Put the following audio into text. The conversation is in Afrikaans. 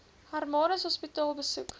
hermanus hospitaal besoek